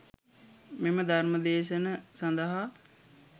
මෙම ධර්ම දේශන සඳහා